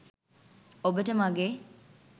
ඔබට මගේ